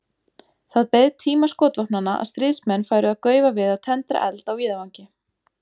Það beið tíma skotvopnanna að stríðsmenn færu að gaufa við að tendra eld á víðavangi.